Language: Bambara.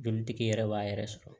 Jolitigi yɛrɛ b'a yɛrɛ sɔrɔ